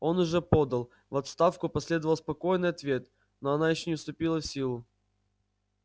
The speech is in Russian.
он уже подал в отставку последовал спокойный ответ но она ещё не вступила в силу